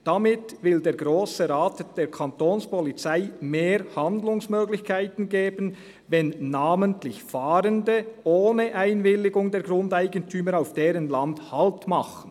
Damit will der Grosse Rat der Kantonspolizei mehr Handlungsmöglichkeiten geben, wenn namentlich Fahrende ohne Einwilligung der Grundeigentümer auf deren Land Halt machen.